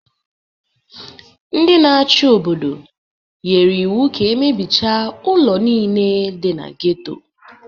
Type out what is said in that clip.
Ndị na-achị obodo nyere iwu ka e mebichaa ụlọ niile dị na geto